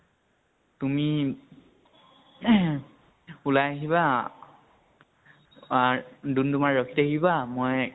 তুমি উলাই আহিবা আৰ দুম্দুমাত ৰখি থাকিবা মই